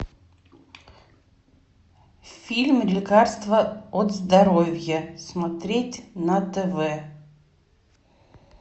фильм лекарство от здоровья смотреть на тв